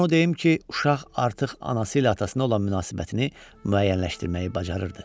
Amma onu deyim ki, uşaq artıq anası ilə atasına olan münasibətini müəyyənləşdirməyi bacarırdı.